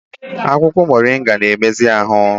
Akwụkwọ moringa na-emezi ahụ